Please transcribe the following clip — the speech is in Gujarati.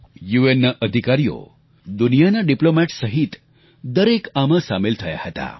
યુએનના અધિકારીઓ દુનિયાના રાજદ્વારીઓ સહિત દરેક આમાં સામેલ થયા હતા